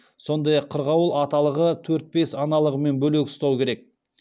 сондай ақ қырғауыл аталығы төрт бес аналығымен бөлек ұстау керек